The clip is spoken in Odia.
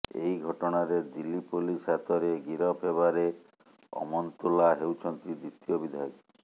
ଏହି ଘଟଣାରେ ଦିଲ୍ଲୀ ପୋଲିସ୍ ହାତରେ ଗିରଫ ହେବାରେ ଅମନ୍ତୁଲ୍ଲା ହେଉଛନ୍ତି ଦ୍ୱିତୀୟ ବିଧାୟକ